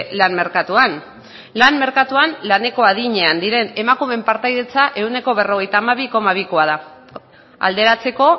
lan merkatuan lan merkatuan laneko adinean dauden emakumeen partaidetza ehuneko berrogeita hamabi koma bikoa da alderatzeko